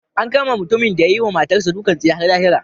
An kama mutumin da ya yi wa matarsa ​​dukan tsiya har lahira.